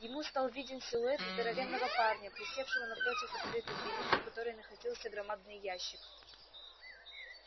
ему стал виден силуэт здоровенного парня присевшего напротив открытой двери у которой находился громадный ящик